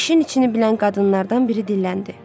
İşin içini bilən qadınlardan biri dilləndi: